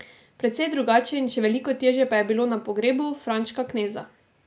Precej drugače in še veliko težje pa je bilo na pogrebu Frančka Kneza.